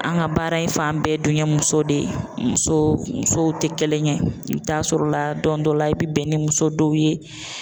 An ka baara in fan bɛɛ dunye muso de ye. Muso musow te kelen ye. I bi t'a sɔrɔla don dɔ la i bi bɛn ni muso dow ye